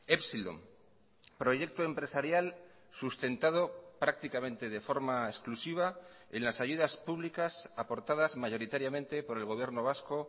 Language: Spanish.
epsilon proyecto empresarial sustentado prácticamente de forma exclusiva en las ayudas públicas aportadas mayoritariamente por el gobierno vasco